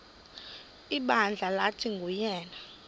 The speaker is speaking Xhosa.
ibandla lathi nguyena